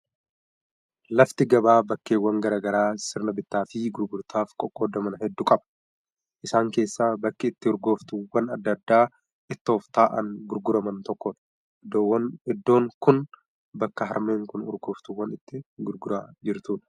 Lafti gabaa bakkeewwan garaa garaa sirna bittaa fi gurgurtaaf qoqqoodaman hedduu qaba. Isaan keessaa bakki itti urgooftuuwwan adda addaa ittoof ta'an gurguraman tokkodha. Iddoon kun bakka harmeen kun urgooftuuwwan itti gurguraa jirtudha.